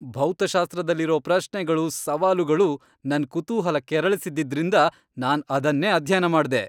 ಭೌತಶಾಸ್ತ್ರದಲ್ಲಿರೋ ಪ್ರಶ್ನೆಗಳು, ಸವಾಲುಗಳು ನನ್ ಕುತೂಹಲ ಕೆರಳಿಸಿದ್ದಿದ್ರಿಂದ ನಾನ್ ಅದನ್ನೇ ಅಧ್ಯಯನ ಮಾಡ್ದೆ.